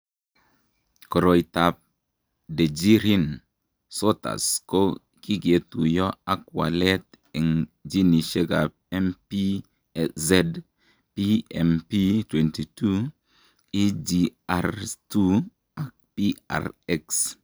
Koroitoab Dejerine Sottas ko kiketuiyo ak walet eng' ginishekab MPZ, PMP22,EGR2 ak PRX.